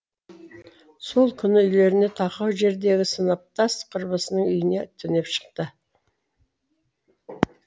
сол күні үйлеріне тақау жердегі сыныптас құрбысының үйіне түнеп шықты